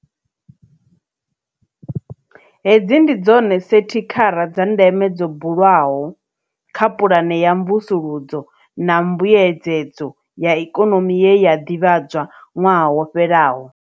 Hedzi ndi dzone sethikhara dza ndeme dzo bulwaho kha pulane ya mvusuludzo na mbuedzedzo ya Ikonomi ye ya ḓivhadzwa ṅwaha wo fhelaho.